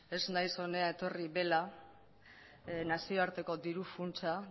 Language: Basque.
ez naiz hona etorri bela nazioarteko diru funtsa